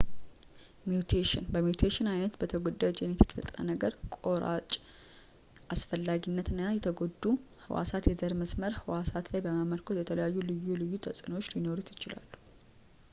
ሚውቴሽን በሚውቴሽን ዓይነት ፣ በተጎዳው የጄኔቲክ ንጥረ ነገር ቁራጭ አስፈላጊነት እና የተጎዱት ህዋሳት የዘር-መስመር ህዋሳት ላይ በመመርኮዝ የተለያዩ ልዩ ልዩ ተጽዕኖዎች ሊኖሩት ይችላል